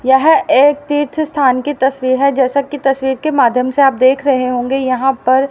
यह एक तीर्थ स्थान की तस्वीर है जैसा कि आप तस्वीर के माध्यम से आप देख रहे होंगे यहां पर--